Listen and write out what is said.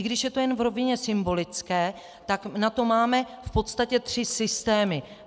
I když je to jen v rovině symbolické, tak na to máme v podstatě tři systémy.